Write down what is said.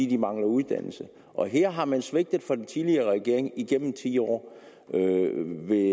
de mangler uddannelse og her har man svigtet fra den tidligere regering igennem ti år vil